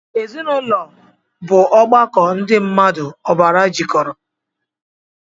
Ezinụlọ bu ọgbakọ ndị mmmadụ ọbara jikọrọ